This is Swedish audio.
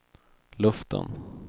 luften